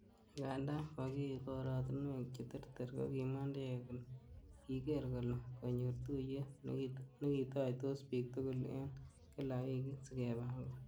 Anagandan kokiyu korotinwek che terter, Kokimwa Ndege kole ''kigeer kole konyor tuyet nekitoitos bik tugul en kila wikit,''sikepangan.